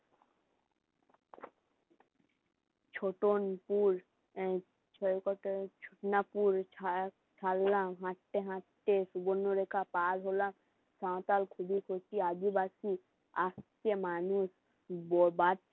হাটতে হাটতে পার হলাম সাঁওতাল আসছে মানুষ